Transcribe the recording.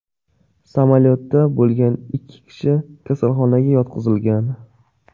Samolyotda bo‘lgan ikki kishi kasalxonaga yotqizilgan.